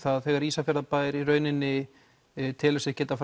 þegar Ísafjarðarbær í rauninni telur sig geta